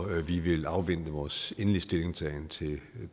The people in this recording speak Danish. vi vil afvente med vores endelige stillingtagen til det